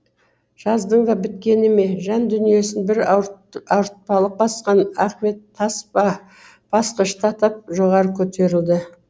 жаздың да біткені ме жан дүниесін бір ауыртпалық басқан ахмет тас па басқышты тап жоғары көтеруді